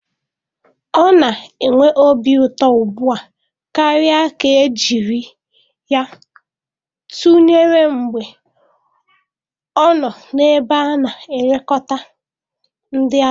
Ọ na-enwe obi ụtọ ugbu a karịa ka e jiri ya tụnyere mgbe ọ nọ n'ebe a na-elekọta ndị agadi.